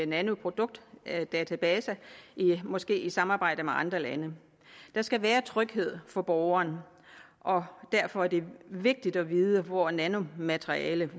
nanoproduktdatabase måske i samarbejde med andre lande der skal være tryghed for borgeren og derfor er det vigtigt at vide hvor nanomaterialet